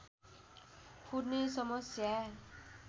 फुट्ने समस्या